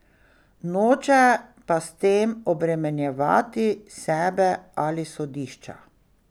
Noče pa s tem obremenjevati sebe ali sodišča.